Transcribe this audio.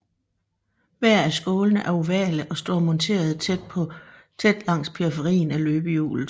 Hver af skålene er ovale og står monterede tæt langs periferien af løbehjulet